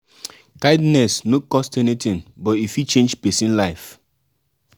no be only your family um you fit help even um stranger um need kindness.